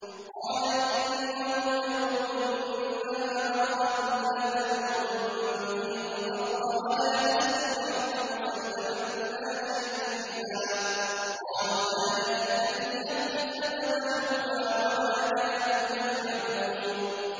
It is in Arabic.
قَالَ إِنَّهُ يَقُولُ إِنَّهَا بَقَرَةٌ لَّا ذَلُولٌ تُثِيرُ الْأَرْضَ وَلَا تَسْقِي الْحَرْثَ مُسَلَّمَةٌ لَّا شِيَةَ فِيهَا ۚ قَالُوا الْآنَ جِئْتَ بِالْحَقِّ ۚ فَذَبَحُوهَا وَمَا كَادُوا يَفْعَلُونَ